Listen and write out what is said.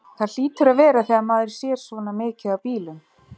Það hlýtur að vera þegar maður sér svona mikið af bílum.